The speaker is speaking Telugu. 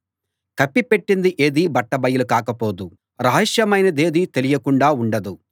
కప్పి పెట్టింది ఏదీ బట్టబయలు కాకపోదు రహస్యమైనదేదీ తెలియకుండా ఉండదు